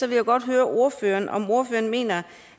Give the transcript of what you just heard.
vil jeg godt høre om ordføreren mener